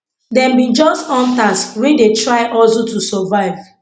dem be just hunters wey dey try hustle to survive